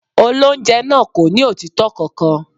Olóńjẹ náà kò ní òtítọ́ kankan.